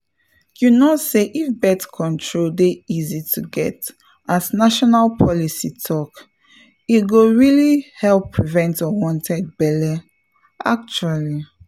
you know say if birth control dey easy to get as national policy talk e go really help prevent unwanted belle — actually.